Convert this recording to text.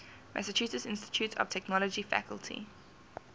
massachusetts institute of technology faculty